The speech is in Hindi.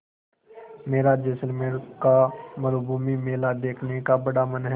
मेरा जैसलमेर का मरूभूमि मेला देखने का बड़ा मन है